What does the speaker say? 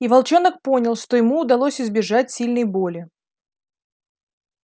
и волчонок понял что ему удалось избежать сильной боли